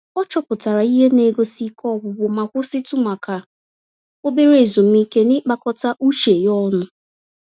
Ọ chọpụtara ihe negosi Ike ọgwụgwụ ma kwụsịtụ maka obere ezumike n'ịkpakọta uche ya ọnụ